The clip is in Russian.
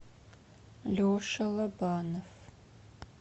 леша лобанов